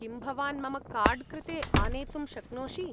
किं भवान् मम कार्ड् कृते आनेतुं शक्नोषि ?